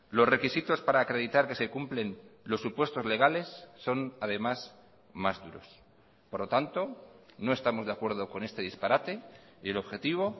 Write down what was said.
los requisitos para acreditar que se cumplen los supuestos legales son además más duros por lo tanto no estamos de acuerdo con este disparate y el objetivo